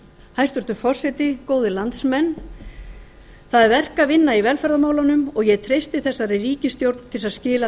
hæstvirtur forseti góðir landsmenn það er verk að vinna i velferðarmálunum og ég treysti þessari ríkisstjórn til þess að skila